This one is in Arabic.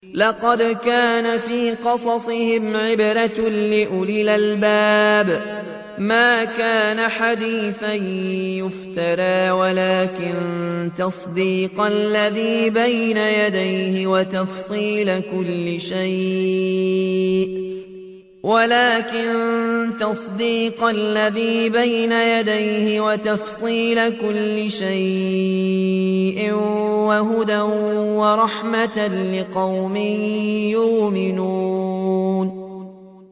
لَقَدْ كَانَ فِي قَصَصِهِمْ عِبْرَةٌ لِّأُولِي الْأَلْبَابِ ۗ مَا كَانَ حَدِيثًا يُفْتَرَىٰ وَلَٰكِن تَصْدِيقَ الَّذِي بَيْنَ يَدَيْهِ وَتَفْصِيلَ كُلِّ شَيْءٍ وَهُدًى وَرَحْمَةً لِّقَوْمٍ يُؤْمِنُونَ